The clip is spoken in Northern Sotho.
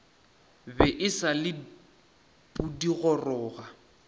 be e sa le pudigoroga